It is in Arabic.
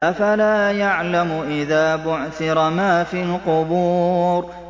۞ أَفَلَا يَعْلَمُ إِذَا بُعْثِرَ مَا فِي الْقُبُورِ